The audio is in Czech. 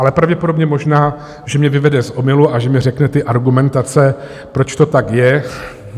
Ale pravděpodobně, možná že mě vyvede z omylu a že mi řekne ty argumentace, proč to tak je.